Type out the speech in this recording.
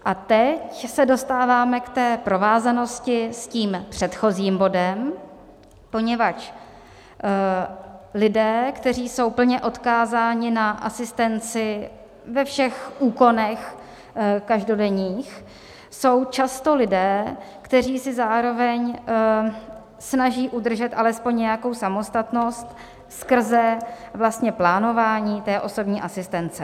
A teď se dostáváme k té provázanosti s tím předchozím bodem, poněvadž lidé, kteří jsou plně odkázáni na asistenci ve všech úkonech každodenních, jsou často lidé, kteří si zároveň snaží udržet alespoň nějakou samostatnost skrze vlastně plánování té osobní asistence.